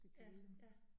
Ja ja